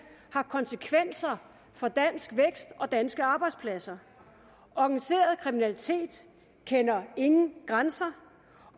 har konsekvenser for dansk vækst og danske arbejdspladser organiseret kriminalitet kender ingen grænser